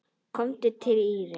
Komdu Týri!